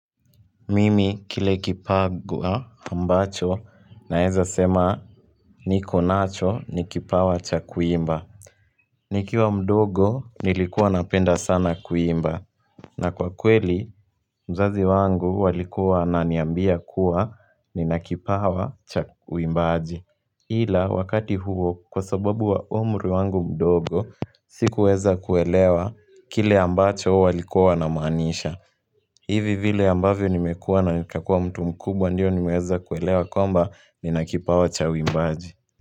Mimi kile kipagua ambacho naeza sema niko nacho ni kipawa cha kuimba nikiwa mdogo nilikuwa napenda sana kuimba na kwa kweli mzazi wangu walikuwa wananiambia kuwa nina kipawa cha uimbaji ila wakati huo kwa sababu wa umri wangu mdogo sikuweza kuelewa kile ambacho walikuwa wanamaanisha hivi vile ambavyo nimekuwa na nikakua mtu mkubwa ndiyo nimeweza kuelewa kwamba nina kipawa cha uimbaji.